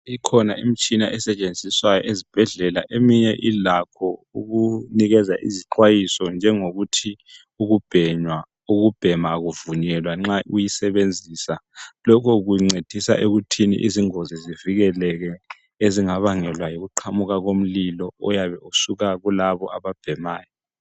Kukhona imitshona esetshenziswa ezibhedlela. Eminye ilakho ukunika izixwayiso njengokuthi ukubhema akuvunyelwa nxa uyisebenzisa. Lokho kuncedisa ekuthini izingozi zivikeleke ezingabangelwa yikuqhamuka komlilo oyabe usuka kulabo ababhemayo.